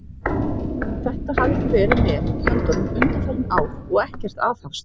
Þetta hafið þið verið með í höndunum undanfarin ár, og ekkert aðhafst!